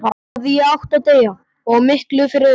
Þá hefði ég átt að deyja, og miklu fyrr auðvitað.